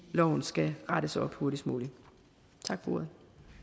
loven skal rettes op hurtigst muligt tak for ordet